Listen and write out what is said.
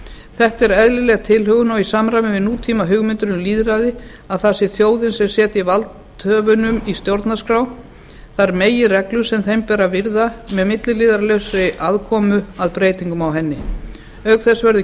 þetta er eðlileg tilhögun og í samræmi við nútímahugmyndir um lýðræði að það sé þjóðin sem setji valdhöfunum í stjórnarskrá þær meginreglur sem þeim ber að virða með milliliðalausri aðkomu að breytingum á henni auk þess verður